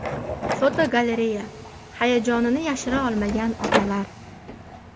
Fotogalereya: Hayajonini yashira olmagan otalar.